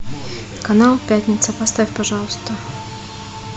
канал пятница поставь пожалуйста